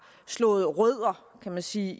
slået rødder kan man sige